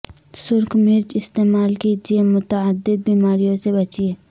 سرخ مرچ استعمال کیجیے متعدد بیماریوں سے بچیے